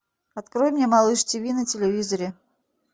открой мне малыш тиви на телевизоре